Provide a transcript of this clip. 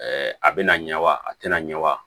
a bɛna ɲɛwa a tɛna ɲɛ wa